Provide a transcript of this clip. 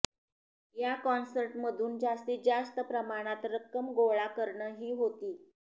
या कॉन्सर्टमधून जास्तीत जास्त प्रमाणात रक्कम गोळा करणं ही होती